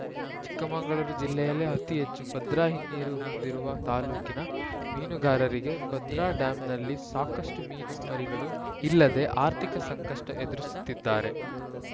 ಚಿಕ್ಕಮಗಳೂರು ಜಿಲ್ಲೆಯಲ್ಲೇ ಅತಿ ಹೆಚ್ಚು ಭದ್ರಾ ಹಿನ್ನೀರು ಹೊಂದಿರುವ ತಾಲೂಕಿನ ಮೀನುಗಾರರಿಗೆ ಭದ್ರಾ ಡ್ಯಾಂನಲ್ಲಿ ಸಾಕಷ್ಟುಮೀನು ಮರಿಗಳು ಇಲ್ಲದೆ ಆರ್ಥಿಕ ಸಂಕಷ್ಟಎದುರಿಸುತ್ತಿದ್ದಾರೆ